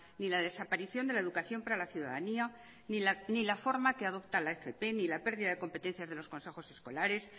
ni la desaparición de la educación para la ciudadanía ni la forma que adopta la fp ni la pérdida de competencias de los consejos escolares